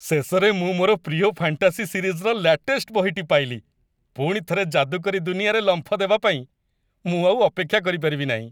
ଶେଷରେ ମୁଁ ମୋର ପ୍ରିୟ ଫାଣ୍ଟାସି ସିରିଜ୍‌ର ଲ୍ୟାଟେଷ୍ଟ ବହିଟି ପାଇଲି। ପୁଣିଥରେ ଯାଦୁକରୀ ଦୁନିଆରେ ଲମ୍ପ ଦେବା ପାଇଁ ମୁଁ ଆଉ ଅପେକ୍ଷା କରିପାରିବି ନାହିଁ!